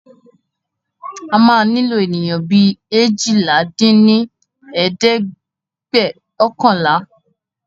A máa nílò ènìyàn bí eéjìlá dín ní ẹ̀ẹ́dẹ́gbẹ́ọ̀kànlá!